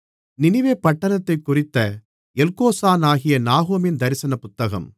நினிவே பட்டணத்தைக் குறித்த எல்கோசானாகிய நாகூமின் தரிசனப் புத்தகம்